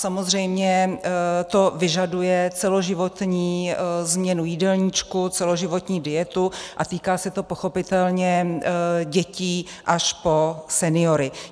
Samozřejmě to vyžaduje celoživotní změnu jídelníčku, celoživotní dietu a týká se to pochopitelně dětí až po seniory.